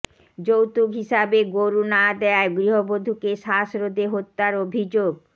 যৌতুক হিসাবে গরু না দেয়ায় গৃহবধূকে শ্বাসরোধে হত্যার অভিযোগ